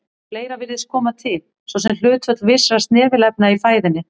Fleira virðist koma til, svo sem hlutföll vissra snefilefna í fæðunni.